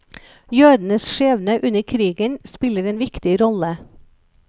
Jødenes skjebne under krigen spiller en viktig rolle.